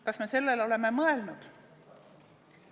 Kas me sellele oleme mõelnud?